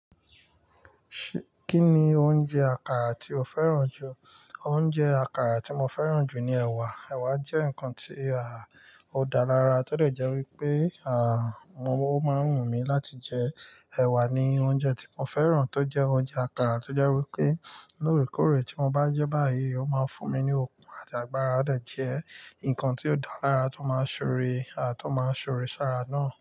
Kí ni oúnjẹ àkàrà tí o fẹ́ràn jù? Oúnjẹ àkàrà tí mo fẹ́ràn jù ni ẹ̀wà. Ẹ̀wà jẹ́ ǹkan tí a ò dá lára tódẹ̀ jẹ́ wípé, à, mo o máa ń wú mi láti jẹ ẹwà ni oúnjẹ tí mo fẹ́ràn tó jẹ́ oúnjẹ àkàrà tó jẹ́ wípé lóòrèkóòrè tí mo bá n jẹ́ báyìí, ó máa ń fún mi ní okun àti agbára. Ó dẹ jẹ́ ǹkan tí ó dá lára tó máa ń ṣoore, à, tó máa ń ṣòore sára náà.